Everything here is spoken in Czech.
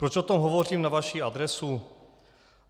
Proč o tom hovořím na vaši adresu?